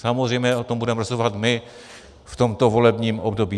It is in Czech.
Samozřejmě o tom budeme rozhodovat my v tomto volebním období.